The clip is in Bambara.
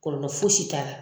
Kɔlɔlɔ fosi t'a la.